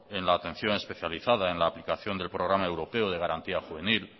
en la atención especializada en la aplicación del programa europeo de garantía juvenil